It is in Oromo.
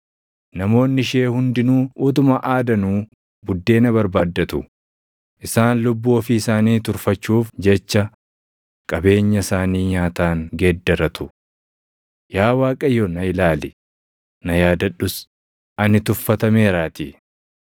Namoonni ishee hundinuu utuma aadanuu buddeena barbaaddatu; isaan lubbuu ofii isaanii turfachuuf jecha qabeenya isaanii nyaataan geeddarratu. “Yaa Waaqayyo na ilaali, na yaadadhus; ani tuffatameeraatii.”